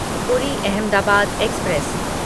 पूरी अहमदाबाद एक्सप्रेस